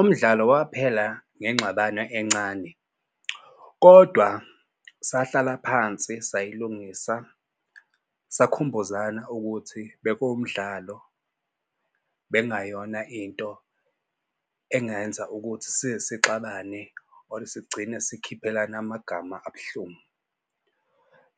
Umdlalo waphela ngengxabano encane, kodwa sahlala phansi sayilungisa. Sakhumbuzana ukuthi bekuwumdlalo bekungayona into engenza ukuthi size sixabane or sigcine sikhiphelana amagama abuhlungu.